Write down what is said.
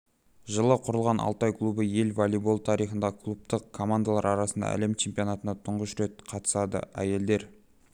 жылы құрылған алтай клубы ел волейболы тарихында клубтық командалар арасындағы әлем чемпионатына тұңғыш рет қатысады әйелдер